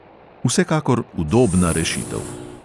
Vsekakor udobna rešitev.